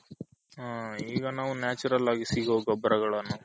ಹಾ ಈಗ ನಾವು Natural ಆಗಿ ಸಿಗೋ ಗೊಬ್ಬರಗಲ್ಲನು